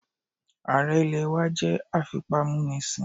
Ààrẹ ilẹ̀ wá jẹ́ afipámúnisìn